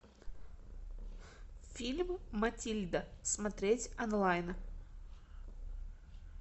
фильм матильда смотреть онлайн